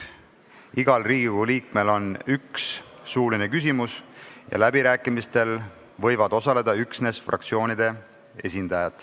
Igal Riigikogu liikmel on üks suuline küsimus ja läbirääkimistel võivad osaleda üksnes fraktsioonide esindajad.